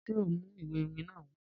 Ṣe o n mu iwe iwin naa wa?